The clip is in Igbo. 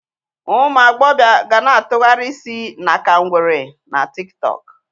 Ụmụ agbọbịa ga na-atụgharị isi na ka ngwere na tiktọọkụ.